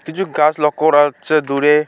কিছু কাজ লক্ষ্য করা হচ্ছে দূরে।